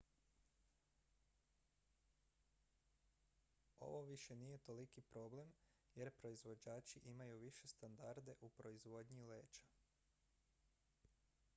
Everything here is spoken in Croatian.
ovo više nije toliki problem jer proizvođači imaju više standarde u proizvodnji leća